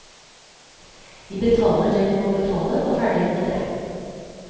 Vi betaler det vi må betale og ferdig med det.